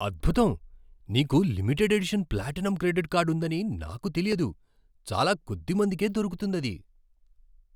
అద్భుతం! నీకు limited edition platinum credit card ఉందని నాకు తెలియదు. చాలా కొద్ది మందికే దొరుకుతుందది.